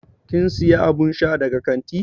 Kin siya abun sha daga kanti?